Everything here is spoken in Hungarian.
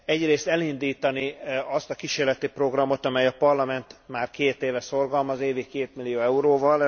Egyrészt elindítani azt a kísérleti programot, amelyet a Parlament már két éve szorgalmaz évi kétmillió euróval.